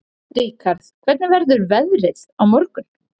Ríkharð, hvernig verður veðrið á morgun?